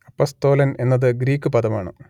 അപ്പസ്തോലൻ എന്നത് ഗ്രീക്കു പദമാണ്